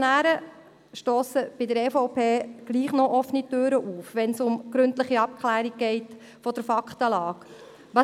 Die Motionäre stossen bei der EVP offene Türen ein, wenn es um die gründliche Abklärung der Faktenlage geht.